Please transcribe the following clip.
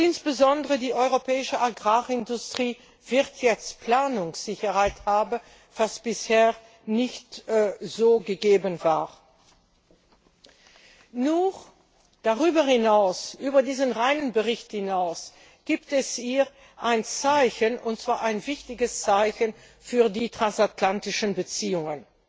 Insbesondere die europäische Agrarindustrie wird jetzt Planungssicherheit haben, was bisher nicht so gegeben war. Über diesen reinen Bericht hinaus gibt es hier ein Zeichen, und zwar ein wichtiges, für die transatlantischen Beziehungen.